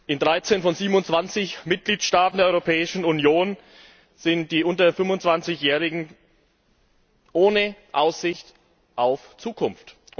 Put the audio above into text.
In 13 von 27Mitgliedstaaten der Europäischen Union sind die unter 25 Jährigen ohne Aussicht auf Zukunft.